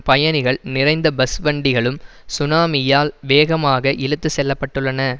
பயணிகள் நிறைந்த பஸ் வண்டிகளும் சுனாமியால் வேகமாக இழுத்து செல்லப்பட்டுள்ளன